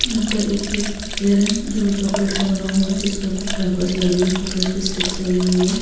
यहां पर एक केक दिखाई दे रहा हैजो चॉकलेट का बना हुआ है जिस पर कोई पेपर्स लगे हैं चॉकलेट की स्टिक्स लगी हुई है।